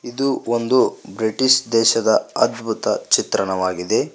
ಇದು ಒಂದು ಬ್ರಿಟಿಷ್ ದೇಶದ ಅದ್ಭುತ ಚಿತ್ರಣವಾಗಿದೆ.